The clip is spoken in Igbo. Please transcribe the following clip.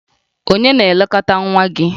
Ònye na-elekọta nwa gị?